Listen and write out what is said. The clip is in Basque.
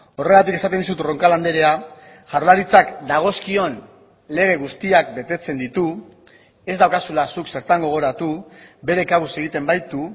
horregatik esaten dizut roncal andrea jaurlaritzak dagozkion lege guztiak betetzen ditu ez daukazula zuk zertan gogoratu bere kabuz egiten baitu